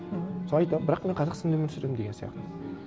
мхм содан айтам бірақ мен қазақстанда өмір сүремін деген сияқты